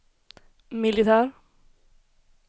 militär